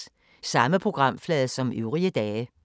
Samme programflade som øvrige dage